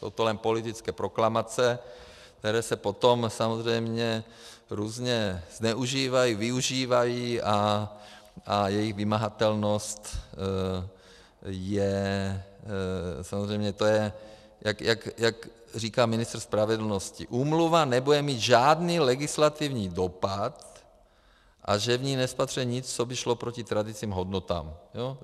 Jsou to jen politické proklamace, které se potom samozřejmě různě zneužívají, využívají a jejich vymahatelnost je, samozřejmě, to je, jak říká ministr spravedlnosti, úmluva nebude mít žádný legislativní dopad a že v ní nespatřuje nic, co by šlo proti tradičním hodnotám.